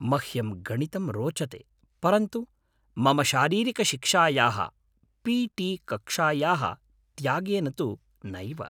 मह्यं गणितं रोचते, परन्तु मम शारीरिकशिक्षायाः पी.टी. कक्षायाः त्यागेन तु नैव।